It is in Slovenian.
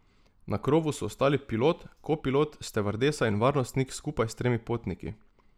Na krovu so ostali pilot, kopilot, stevardesa in varnostnik skupaj s tremi potniki.